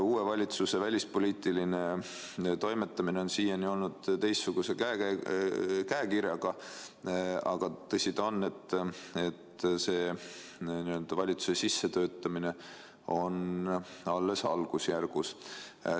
Uue valitsuse välispoliitiline toimetamine on siiani olnud teistsuguse käekirjaga, aga tõsi ta on, et valitsuse n-ö sissetöötamine on alles algusjärgus.